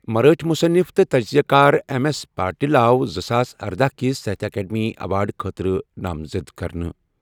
مرٲٹھۍ مُصنِف تہٕ تجزِیہٕ کار ایم ایس پاٹِل آو زٕساس اردہَ کِس ساہتیہ اکیڈمی ایوارڈٕ خٲطرٕ نامزد کرنہٕ۔